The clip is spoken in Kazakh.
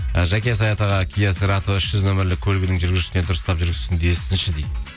ы жаке саят аға үш жүз нөмірлік көлігінің жүргізушісіне дұрыстап жүргізсін десінші дейді